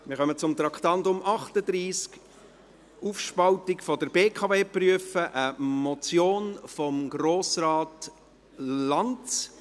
Wir kommen zum Traktandum 38, «Aufspaltung der BKW prüfen», eine Motion von Grossrat Lanz.